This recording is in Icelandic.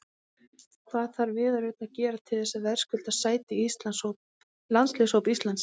Hvað þarf Viðar Örn að gera til þess að verðskulda sæti í landsliðshóp Íslands?